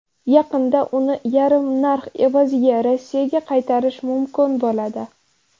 Yaqinda uni yarim narx evaziga Rossiyaga qaytarish mumkin bo‘ladi.